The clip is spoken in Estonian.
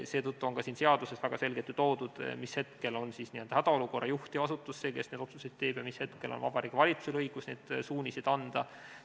Seetõttu on ka siin seaduses väga selgelt ju ära toodud, mis hetkel on hädaolukorra juht ja see asutus see, kes neid otsuseid teeb, ja mis hetkel on Vabariigi Valitsusel õigus suuniseid anda.